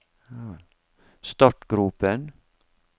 startgropen